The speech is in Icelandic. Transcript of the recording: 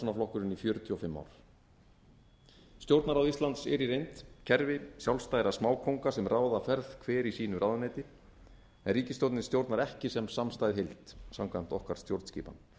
og framsóknarflokkurinn í fjörutíu og fimm ár stjórnarráð íslands er í reynd kerfi sjálfstæðra smákónga sem ráða ferð hver í sínu ráðuneyti en ríkisstjórnin stjórnar ekki sem samstæð heild samkvæmt okkar stjórnskipan